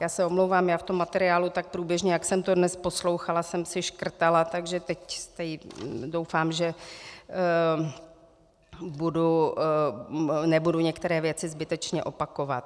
Já se omlouvám, já v tom materiálu tak průběžně, jak jsem to dnes poslouchala, jsem si škrtala, takže teď doufám, že nebudu některé věci zbytečně opakovat.